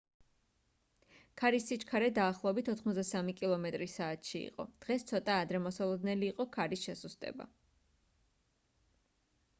ქარის სიჩქარე დაახლოებით 83 კმ/სთ იყო დღეს ცოტა ადრე მოსალოდნელი იყო ქარის შესუსტება